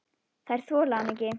Þeir þola hann ekki.